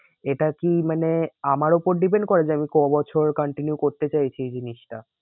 এটা কি মানে আমার ওপর depend করে যে আমি কবছর continue করতে চাইছি এই জিনিসটা?